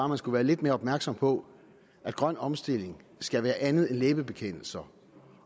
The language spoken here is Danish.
man skulle være lidt mere opmærksom på at grøn omstilling skal være andet end læbebekendelser